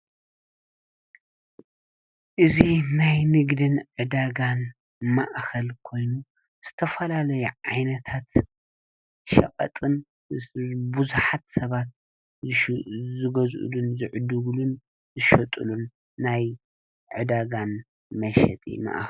እዙ ናይ ንግድን ዕዳጋን ማእኸል ኮይኑ ዝተፈላለይ ዓይነታት ሸቐጥን ብዙኃት ሰባት ዝጐዝኡሉን ዝዕድጉሉን ዘሸጡሉን ናይ ዕዳጋን መሸጢ መእኸል እዮ።